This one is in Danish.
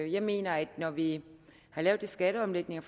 jeg mener at når vi har lavet de skatteomlægninger